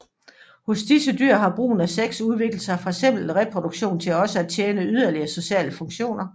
Hos disse dyr har brugen af sex udviklet sig fra simpel reproduktion til også at tjene yderligere sociale funktioner